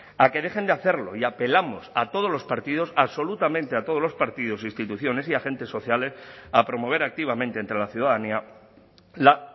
a que dejen de hacerlo y apelamos a todos los partidos absolutamente a todos los partidos instituciones y agentes sociales a promover activamente entre la ciudadanía la